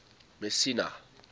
messina